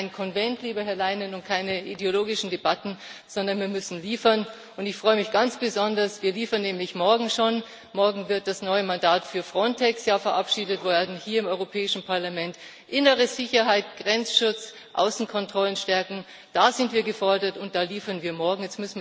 Wir brauchen kein Konvent, lieber Herr Leinen, und keine ideologischen Debatten, sondern wir müssen liefern. Ich freue mich ganz besonders, wir liefern nämlich schon morgen, denn morgen wird das neue Mandat für Frontex hier im Europäischen Parlament verabschiedet werden. Innere Sicherheit, Grenzschutz, Außenkontrollen stärken Da sind wir gefordert, und da liefern wir morgen.